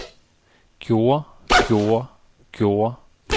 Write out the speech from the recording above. gjorde gjorde gjorde